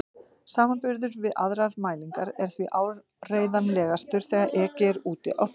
Samanburður við aðrar mælingar er því áreiðanlegastur þegar ekið er úti á þjóðvegi.